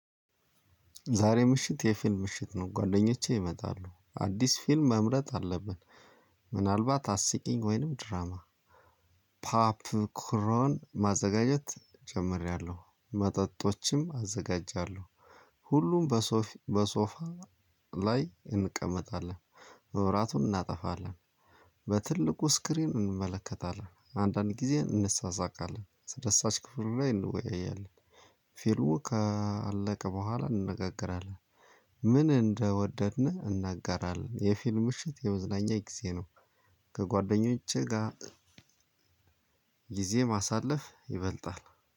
ዛሬ ምሽት የፊልም ምሽት ነው ጓደኞቼ ይመጣሉ አዲስ ፊልም መምረጥ አለብን። ምናልባት አስቂኝ ወይንም ድራማ። ፓፕ ክሮን ማዘጋጀት ጀምሬያለሁ መጠጦችም አዘጋጃለሁ። ሁሉም በሶፋ ላይ እንቀመጣለን። ማብራቱን እናጠፋለን። በትልቁ ስክሪን እንመለከታለን አንዳንድ ጊዜ እንሳሳቃለን አስደሳች ክፍሉ ላይ እንወያያለን። ፊሉሙ ካለቀ በኋላ እንነጋገራለን። ምን እንደወደድን እናጋራለን የፊልም ምሽት የመዝናኛ ጊዜ ነው። ከጓደኞቼ ጋር ጊዜ ማሳለፍ ይበልጣል።